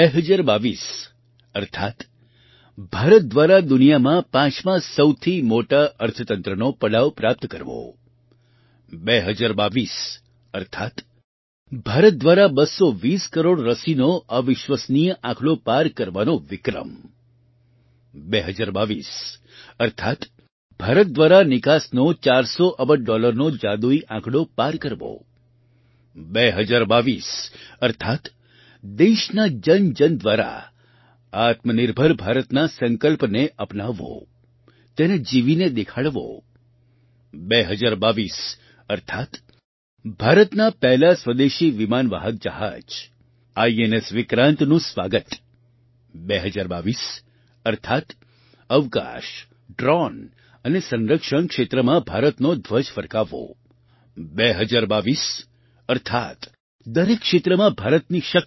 2022 અર્થાત્ ભારત દ્વારા દુનિયામાં પાંચમા સૌથી મોટા અર્થતંત્રનો પડાવ પ્રાપ્ત કરવો 2022 અર્થાત્ ભારત દ્વારા 220 કરોડ રસીનો અવિશ્વસનીય આંકડો પાર કરવાનો વિક્રમ 2022 અર્થાત્ ભારત દ્વારા નિકાસનો 400 અબજ ડૉલરનો જાદુઈ આંકડો પાર કરવો 2022 અર્થાત્ દેશના જનજન દ્વારા આત્મનિર્ભર ભારતના સંકલ્પને અપનાવવો તેને જીવીને દેખાડવો 2022 અર્થાત્ ભારતના પહેલા સ્વદેશી વિમાનવાહક જહાજ આઈએનએસ વિક્રાંતનું સ્વાગત 2022 અર્થાત્ અવકાશ ડ્રૉન અને સંરક્ષણ ક્ષેત્રમાં ભારતનો ધ્વજ ફરકાવવો 2022 અર્થાત્ દરેક ક્ષેત્રમાં ભારતની શક્તિ